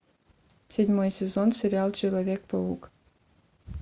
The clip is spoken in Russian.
седьмой сезон сериал человек паук